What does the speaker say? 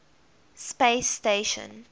space station